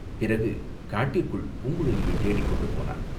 பிறகு காட்டிற்குள் பூங்குழலியைத் தேடிக்கொண்டு போனான்.